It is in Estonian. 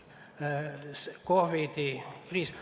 COVID-i kriis ...